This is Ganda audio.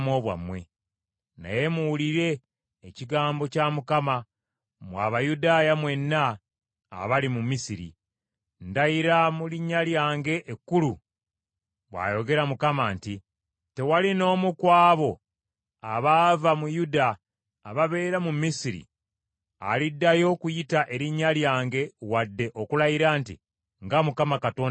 Naye muwulire ekigambo kya Mukama , mmwe Abayudaaya mwenna abali mu Misiri. ‘Ndayira mu linnya lyange ekkulu,’ bw’ayogera Mukama nti, ‘Tewali n’omu ku abo abaava mu Yuda ababeera mu Misiri, aliddayo okuyita erinnya lyange wadde okulayira nti, “Nga Mukama Katonda bw’ali omulamu.”